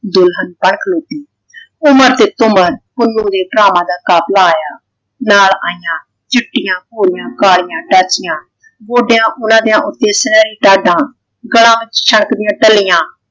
ਦੁਲਹਨ ਤੱਕ ਰਹੀ ਸੀ। ਉਮਰ ਤੇ ਤੁਮਰ ਪੁੰਨੂੰ ਦੇ ਭਰਾਵਾਂ ਦਾ ਕਾਫ਼ਿਲਾ ਆਇਆ ਨਾਲ ਆਈਆਂ ਚਿੱਟੀਆਂ ਘੋੜੀਆਂ ਕਾਲੀਆਂ ਡਾਚੀਆਂ। ਗੋਡਿਆਂ ਓਹਨਾ ਦਿਆਂ ਉੱਤੇ ਸੁਨਿਹਰੀ ਡਾਡਾਂ ਗਲਾਂ ਵਿੱਚ ਛਣਕਦੀਆਂ ਟੱਲੀਆਂ।